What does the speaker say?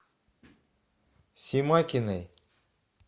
семакиной